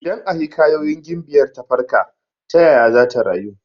Idan a hikayoyin gimbiyar ta farka, ta yaya zata rayu?